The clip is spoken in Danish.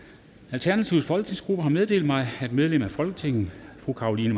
alternativets folketingsgruppe har meddelt mig at medlem af folketinget fru carolina